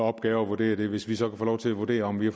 opgave at vurdere det hvis vi så kan få lov til at vurdere om vi har